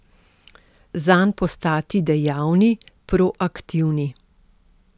Zanj postati dejavni, proaktivni.